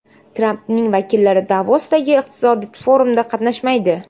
Trampning vakillari Davosdagi iqtisodiy forumda qatnashmaydi.